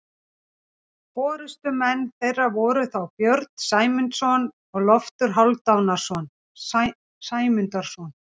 Forystumenn þeirra voru þá Björn Sæmundarson og Loftur Hálfdanarson Sæmundarsonar.